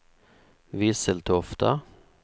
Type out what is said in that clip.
Visseltofta